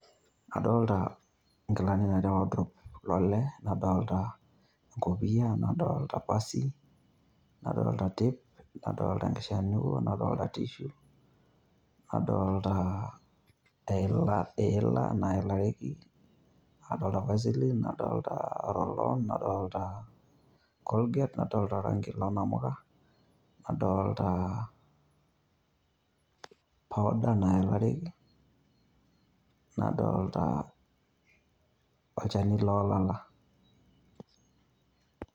Ado; ita ingilani natii worddrope lole nadolita enkopia nadolita pasi, nadolta tape, nadolta enkishanuo ,nadolta tissue nadolta ilat naelareki, adolta vaseline nadolta loron nadolta colgate nadolta colgate. nadolta orangi lonkamuka nadolita powder naelareki nadolta olchani lolala,